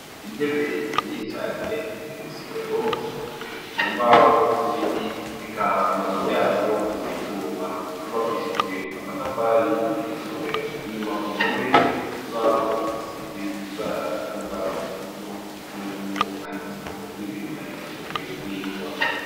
Intebe inyinshi cane ziri mw' isomero zikozwe mu mbaho z'ibiti eka amaguru yazo n'ivyuma vyubakishijwe amatafari iryo somero inyuma ku mpome hari kibaho gisize ibara risa nurwatsi rutoto babona yuko canditsweho n'ibintu vyandikishijwe n'ingwa.